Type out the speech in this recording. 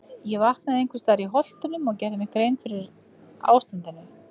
Ég vaknaði einhvers staðar í Holtunum og gerði mér grein fyrir ástandinu.